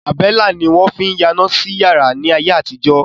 Àbẹ́lá ni wọ́n fín yáná sí yàrá ni ayé àtijọ́.